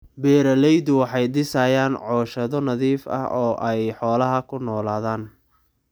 Beeraleydu waxay dhisayaan cooshado nadiif ah oo ay xoolaha ku noolaadaan.